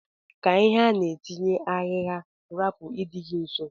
Ka ihe ana etinye ahigha rapu idi gi nso.